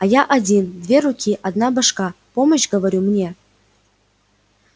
а я один две руки одна башка помощь говорю мне